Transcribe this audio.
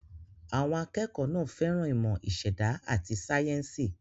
Àwọn akẹ́kọ̀ọ́ náà fẹ́ràn ìmọ̀ ìṣẹ̀dá àti sáyẹ́ńsì.